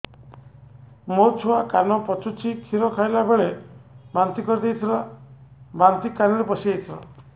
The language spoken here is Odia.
ମୋ ଛୁଆ କାନ ପଚୁଛି କ୍ଷୀର ଖାଇଲାବେଳେ ବାନ୍ତି କରି ଦେଇଥିଲା ବାନ୍ତି କାନରେ ପଶିଯାଇ ଥିଲା